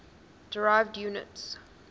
derived units